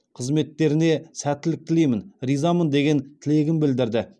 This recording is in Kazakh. қызметтеріне сәттілік тілеймін ризамын деген тілегін білдірді